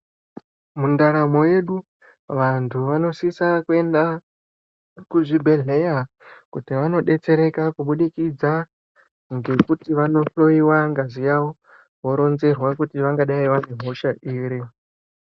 Mundaramo yedu, vanthu vanosisa kuenda kuzvibhedhleya, kuti vanodetsereka, kubudikidza ngekuti vandohloiwa ngazi yawo, voronzerwa kuti vangadai vane hosha iri.